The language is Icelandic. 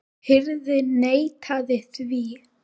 Hirðin neitaði því.